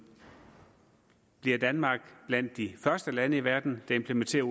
bliver danmark blandt de første lande i verden der implementerer